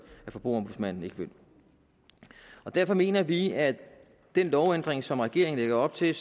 at forbrugerombudsmanden ikke vil derfor mener vi at den lovændring som regeringen lægger op til